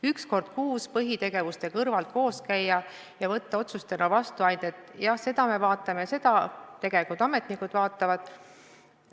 Üks kord kuus põhitegevuste kõrvalt koos käia ja võtta vastu ainult otsuseid, et seda me vaatame ja seda ka – tegelikult ametnikud vaatavad.